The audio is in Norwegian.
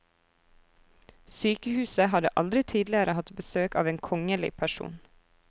Sykehuset hadde aldri tidligere hatt besøk av en kongelig person.